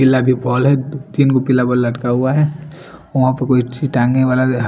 पिला भी पोल है तीन भी पिला पोल लटका हुआ है वहा पे कोई अछि टांगे वाला--